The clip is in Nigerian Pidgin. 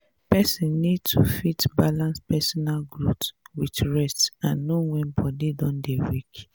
person need to fit balance personal growth with rest and know when body don dey weak